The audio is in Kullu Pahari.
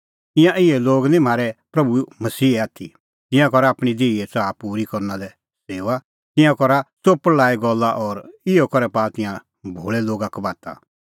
ईंयां इहै लोग निं म्हारै प्रभू मसीहे आथी तिंयां करा आपणीं देहीए च़ाहा पूरी करना लै सेऊआ तिंयां करा च़ोपल़ लाई गल्ला और इहअ करै पाआ तिंयां भोल़ै लोगा कबाता